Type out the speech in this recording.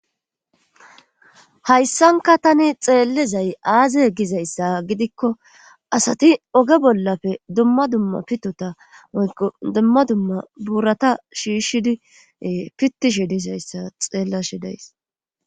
Hayssanka tani xeellezay aaze gizayssa gidikko asati oge bollafe dumma dumma pitota oyqo dumma dumma buurata shiishidie fitishi disayssa xeella shi days.